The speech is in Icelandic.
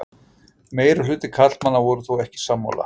Meirihluti karlmanna voru þó ekki sammála